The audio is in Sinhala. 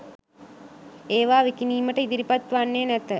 ඒවා විකිණීමට ඉදිරිපත් වන්නේ නැත